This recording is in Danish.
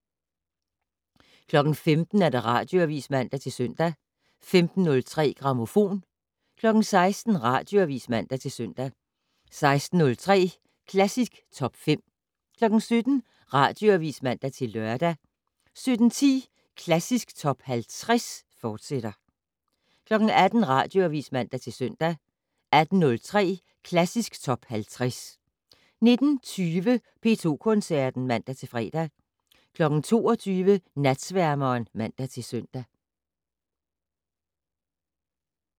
15:00: Radioavis (man-søn) 15:03: Grammofon 16:00: Radioavis (man-søn) 16:03: Klassisk Top 50 17:00: Radioavis (man-lør) 17:10: Klassisk Top 50, fortsat 18:00: Radioavis (man-søn) 18:03: Klassisk Top 50 19:20: P2 Koncerten (man-fre) 22:00: Natsværmeren (man-søn)